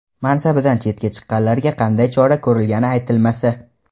mansabidan chetga chiqqanlarga qanday chora ko‘rilgani aytilmasa.